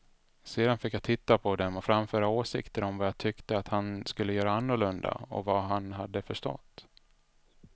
Sedan fick jag titta på dem och framföra åsikter om vad jag tyckte att han skulle göra annorlunda och vad han hade förstått.